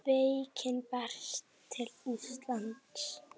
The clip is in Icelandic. Veikin berst til Íslands